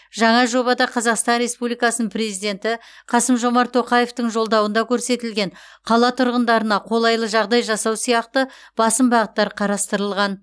жаңа жобада қазақстан республикасының президенті қасым жомарт тоқаевтың жолдауында көрсетілген қала тұрғындарына қолайлы жағдай жасау сияқты басым бағыттар қарастырылған